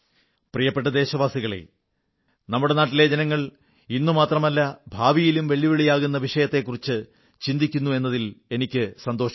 പ്രിയപ്പെട്ട ദേശവാസികളേ നമ്മുടെ നാട്ടിലെ ജനങ്ങൾ ഇന്നു മാത്രമല്ല ഭാവിയിലും വെല്ലുവിളിയാകുന്ന വിഷയക്കുറിച്ചു ചിന്തിക്കുന്നു എന്നതിൽ എനിക്കു സന്തോഷമുണ്ട്